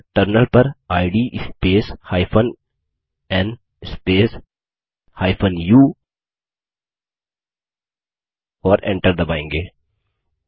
यहाँ टर्मिनल पर इद स्पेस n स्पेस u और Enter दबायेंगे